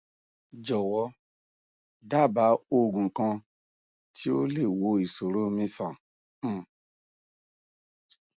jọ̀wọ́ dábàá oògùn kan tí ó lè wo ìṣòrò mi sàn um